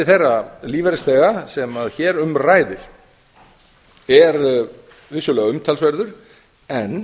þeirra lífeyrisþega sem hér um ræðir er vissulega umtalsverður en